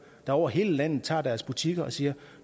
der over hele landet tager deres butikker og siger